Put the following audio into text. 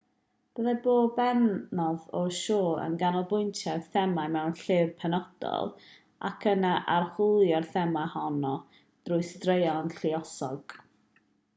byddai pob pennod o'r sioe yn canolbwyntio ar thema mewn llyfr penodol ac yna'n archwilio'r thema honno drwy straeon lluosog